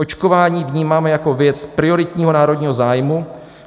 Očkování vnímáme jako věc prioritního národního zájmu.